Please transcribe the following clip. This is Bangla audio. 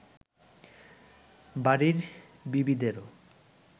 বাড়ীর বিবিদেরও